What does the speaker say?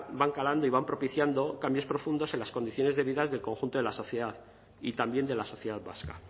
van calando y van propiciando cambios profundos en las condiciones de vida del conjunto de la sociedad y también de la sociedad vasca